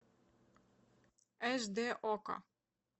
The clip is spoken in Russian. аш дэ окко